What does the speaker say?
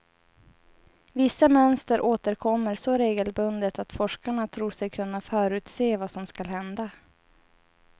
Vissa mönster återkommer så regelbundet att forskarna tror sig kunna förutse vad som skall hända.